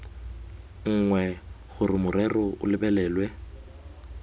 nngwe gore morero o lebelelwe